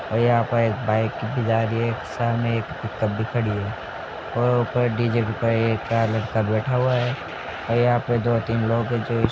और यहाँ पर एक बाइक भी जा रही है सामने एक कुत्ता भी खड़ी है और ऊपर डीजे के ऊपर एक लड़का बैठा हुआ है और यहाँ पे दो तीन लोग हैं जो --